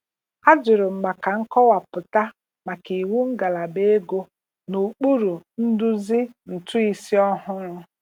A jụrụ m maka nkọwapụta maka iwu ngalaba ego n'ụkpụrụ nduzi ụtụisi ọhụrụ.